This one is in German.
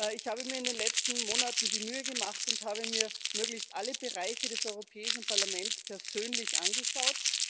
Ich habe mir in den letzten Monaten die Mühe gemacht und habe mir möglichst alle Bereiche des Europäischen Parlaments persönlich angeschaut.